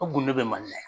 O kunde bɛ mali la yan